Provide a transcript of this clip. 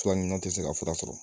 Fura ɲuman tɛ se ka fura sɔrɔ